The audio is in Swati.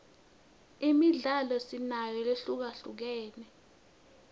imidlalo sinayo lehlukahlukene